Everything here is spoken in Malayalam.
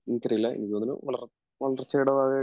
എനിക്കറിയില്ല എനിക്ക് തോന്നണ് വളർച്ചയുടെ ഭാഗായിട്ട്